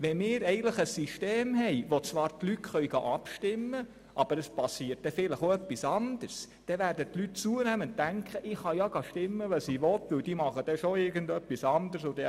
Wenn wir ein System haben, wo die Leute zwar abstimmen können, aber es geschieht dann vielleicht auch etwas anderes, dann werden die Leute zunehmend denken, dass sie ja abstimmen können, wie sie wollen, dass aber die Zuständigen dann schon irgend etwas anderes machen.